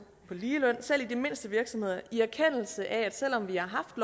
på ligeløn selv i de mindste virksomheder i erkendelse af at selv om vi har haft